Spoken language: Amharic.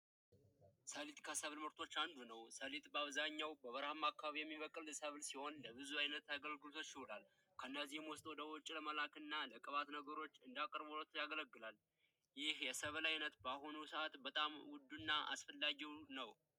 ሰሊጥ ከብል ምርቶች አንዱ ነው ሰሊጥ አብዛኛውን ጊዜ በረሃማ አካባቢዎች የሚበቅል ሲሆን አገልግሎቶች ይውላል ከነዚህም ውስጥ ወደ ውጭ ለመላክና ለዘይት ምርት አቅርቦቱ ያገለግላል ይህ ሰብል አይነት በአሁኑ ሰዓት በጣም ውዱ እና አስፈላጊ ነው።